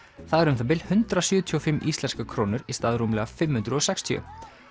það er um það bil hundrað sjötíu og fimm íslenskar krónur í stað rúmlega fimm hundruð og sextíu